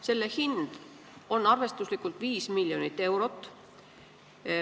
Selle hind on arvestuslikult 5 miljonit eurot.